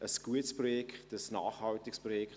Es ist ein gutes Projekt, ein nachhaltiges Projekt.